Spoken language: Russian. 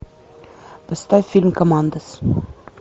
поставь фильм командос